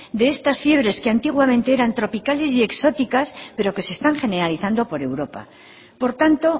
de estas fiebres que antiguamente eran tropicales y exóticas pero que se están generalizando por europa por tanto